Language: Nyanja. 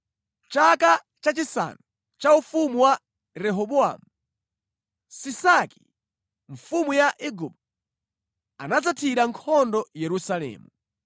Chaka chachisanu cha ufumu wa Rehobowamu, Sisaki, mfumu ya Igupto, anadzathira nkhondo Yerusalemu.